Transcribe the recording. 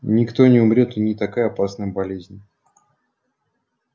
никто не умрёт это не такая опасная болезнь